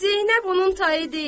Zeynəb onun tayı deyil.